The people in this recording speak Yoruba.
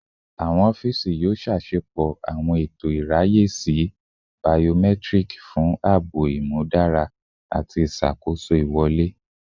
Awọn ọfiisi yoo ṣepọ awọn eto iraye si biometric fun aabo imudara ati iṣakoso iwọle